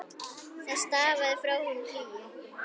Það stafaði frá honum hlýju.